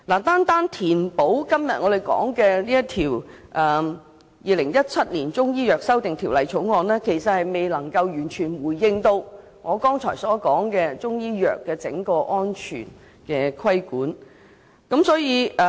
單是透過我們今天討論的這項《條例草案》填補漏洞，其實未能完全回應我剛才提到對整個中醫藥制度作出安全規管的訴求。